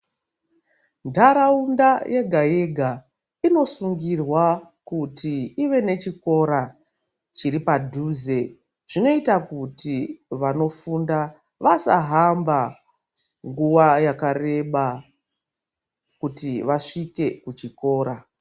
Ndaraunda yega yega inosungirwa kuti I've nechikora chiri padhuze zvinoita kuti vanofunda vasahamba nguwa yakareba kuti vasbike kuchikora.